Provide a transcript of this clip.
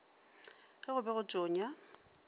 ge go be go tonya